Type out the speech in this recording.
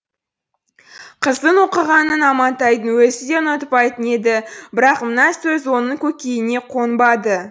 қыздың оқығанын амантайдың өзі де ұнатпайтын еді бірақ мына сөз оның көкейіне қонбады